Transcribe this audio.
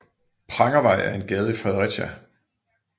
Prangervej er en gade i Fredericia